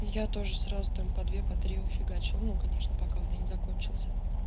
я тоже сразу там по две по три фигачу ну конечно пока у меня не закончился